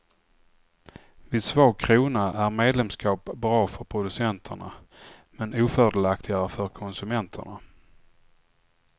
Vid svag krona är medlemskap bra för producenterna men ofördelaktigare för konsumenterna.